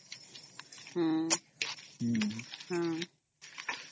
noise